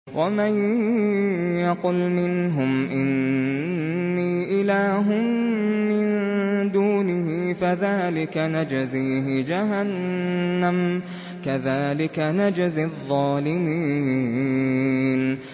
۞ وَمَن يَقُلْ مِنْهُمْ إِنِّي إِلَٰهٌ مِّن دُونِهِ فَذَٰلِكَ نَجْزِيهِ جَهَنَّمَ ۚ كَذَٰلِكَ نَجْزِي الظَّالِمِينَ